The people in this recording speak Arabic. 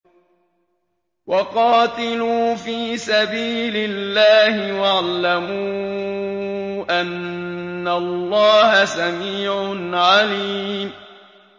وَقَاتِلُوا فِي سَبِيلِ اللَّهِ وَاعْلَمُوا أَنَّ اللَّهَ سَمِيعٌ عَلِيمٌ